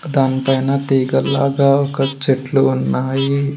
దానిపైన తీగల్లాగ ఒక చెట్లు ఉన్నాయి.